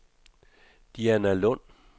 Dianalund